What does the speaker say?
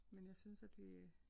Men jeg synes at vi